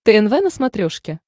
тнв на смотрешке